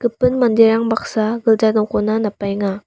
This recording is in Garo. gipin manderang baksa gilja nokona napbaenga.